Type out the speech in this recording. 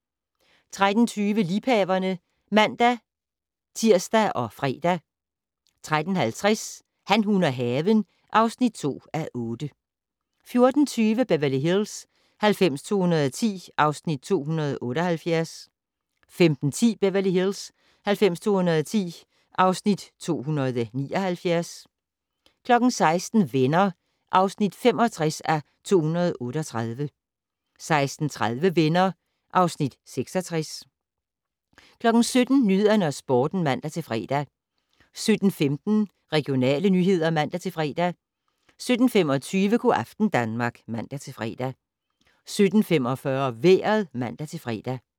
13:20: Liebhaverne (man-tir og fre) 13:50: Han, hun og haven (2:8) 14:20: Beverly Hills 90210 (Afs. 278) 15:10: Beverly Hills 90210 (Afs. 279) 16:00: Venner (65:238) 16:30: Venner (Afs. 66) 17:00: Nyhederne og Sporten (man-fre) 17:15: Regionale nyheder (man-fre) 17:25: Go' aften Danmark (man-fre) 17:45: Vejret (man-fre)